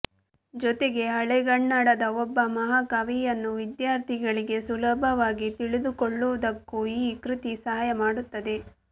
ಜೊತೆಗೆ ಹಳೆಗನ್ನಡದ ಒಬ್ಬ ಮಹಾಕವಿಯನ್ನು ವಿದ್ಯಾರ್ಥಿಗಳಿಗೆ ಸುಲಭವಾಗಿ ತಿಳಿದುಕೊಳ್ಳುವುದಕ್ಕೂ ಈ ಕೃತಿ ಸಹಾಯ ಮಾಡುತ್ತದೆ